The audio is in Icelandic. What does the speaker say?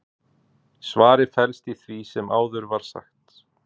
svarið felst í því sem áður var sagt